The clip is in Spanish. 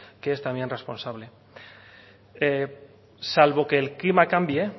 que es también responsable salvo que el clima cambie